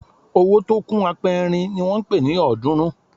Owó tó kún apẹrin ni wọ́n ń pe ọ̀ọ́dúnrún